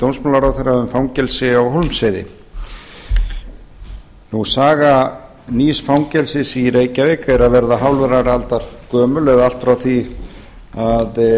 dómsmálaráðherra um fangelsi á hólmsheiði saga nýs fangelsis í reykjavík er að verða hálfrar aldar gömul allt frá því að